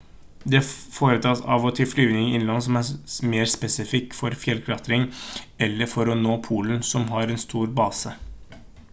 det foretas av og til flyvninger innenlands som er spesifikke for fjellklatring eller for å nå polen som har en stor base